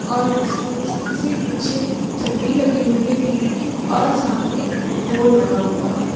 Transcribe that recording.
ओत्स उस के निचे छतरी लगी हुई है टी.वी. की और सामने बोर्ड लगा हुआ है।